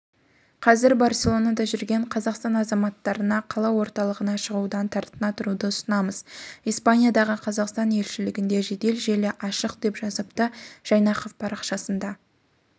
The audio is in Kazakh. қазір барселонада жүрген қазақстан азаматтарына қала орталығына шығудан тартына тұруды ұсынамыз испаниядағы қазақстан елшілігінде жедел желі ашық деп жазыпты жайнақов парақшасында